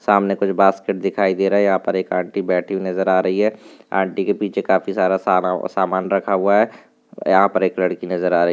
सामने कुछ बास्केट दिखाई दे रहे यहाँ पर एक आंटी बैठी हुई नज़र आ रही है आंटी के पीछे काफी सारा सामान रखा हुआ है यहाँ पर एक लड़की नजर आ रही।